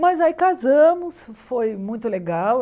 Mas aí casamos, e foi muito legal.